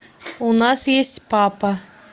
у нас есть папа